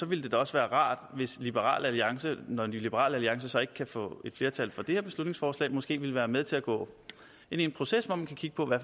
vil det da også være rart hvis liberal alliance når liberal alliance så ikke kan få et flertal for det her beslutningsforslag måske vil være med til at gå ind i en proces hvor man kan kigge på